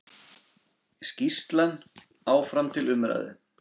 Skýrslan áfram til umræðu